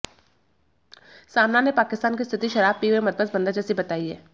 सामना ने पाकिस्तान की स्थिति शराब पिए हुए मदमस्त बंदर जैसी बताई है